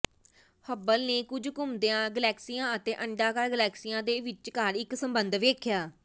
Hubble ਨੇ ਕੁਝ ਘੁੰਮਦੀਆਂ ਗਲੈਕਸੀਆਂ ਅਤੇ ਅੰਡਾਕਾਰ ਗਲੈਕਸੀਆ ਦੇ ਵਿਚਕਾਰ ਇੱਕ ਸੰਬੰਧ ਵੇਖਿਆ